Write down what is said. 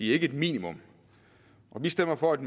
ikke et minimum og vi stemmer for et